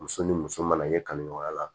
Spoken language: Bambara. Muso ni muso mana ɲɛ kali ɲɔgɔnya la